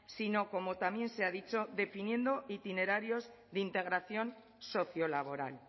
sino como también se ha dicho definiendo itinerarios de integración socio laboral